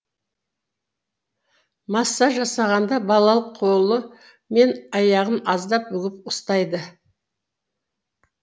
массаж жасағанда балалық қолы мен аяғын аздап бүгіп ұстайды